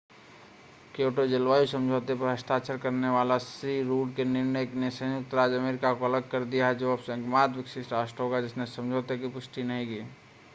Kyoto जलवायु समझौते पर हस्ताक्षर करने के श्री रुड के निर्णय ने संयुक्त राज्य अमेरिका को अलग कर दिया है जो अब एकमात्र विकसित राष्ट्र होगा जिसने समझौते की पुष्टि नहीं की है